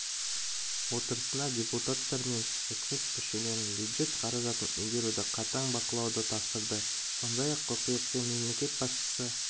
отырысында депутаттар мен үкімет мүшелеріне бюджет қаражатын игеруді қатаң бақылауды тапсырды сондай-ақ қыркүйекте мемлекет басшысы